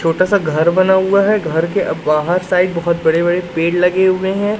छोटा सा घर बना हुआ है घर के बाहर साइड बहोत बड़े पेड़ लगे हुए है।